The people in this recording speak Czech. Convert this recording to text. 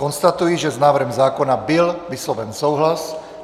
Konstatuji, že s návrhem zákona byl vysloven souhlas.